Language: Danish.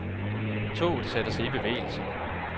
Toget satte sig i bevægelse.